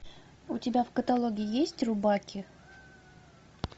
у тебя в каталоге есть рубаки